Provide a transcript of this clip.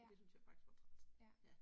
Ja. Ja